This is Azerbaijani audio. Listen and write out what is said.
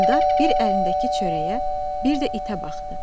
Eldar bir əlindəki çörəyə, bir də itə baxdı.